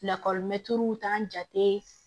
Lakɔlimɛtiriw t'an jate